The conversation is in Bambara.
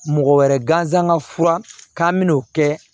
Mɔgɔ wɛrɛ gansan fura k'an bɛn'o kɛ